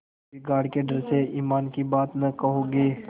बिगाड़ के डर से ईमान की बात न कहोगे